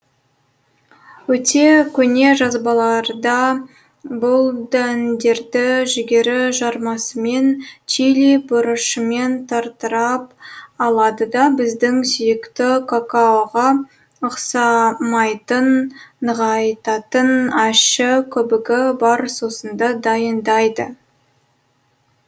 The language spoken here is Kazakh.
өте көне жазбаларда бұл дәндерді жүгері жармасымен чили бұрышымен тарттырып алады да біздің сүйікті какаоға ұқсамайтын нығайтатын ащы көбігі бар сусынды дайындайды